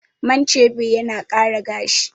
Man chebe yana ƙara gashi